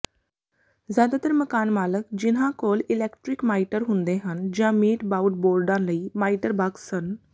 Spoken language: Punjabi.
ਜ਼ਿਆਦਾਤਰ ਮਕਾਨਮਾਲਕ ਜਿਨ੍ਹਾਂ ਕੋਲ ਇਲੈਕਟ੍ਰਿਕ ਮਾਈਟਰ ਹੁੰਦੇ ਹਨ ਜਾਂ ਮੀਟ ਬਾਊਡਬੋਰਡਾਂ ਲਈ ਮਾਈਟਰ ਬਾਕਸ ਸਨ